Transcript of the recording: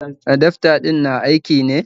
Adafta din na aiki ne?